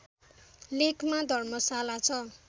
लेकमा धर्मशाला छ